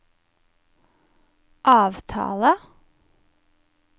avtale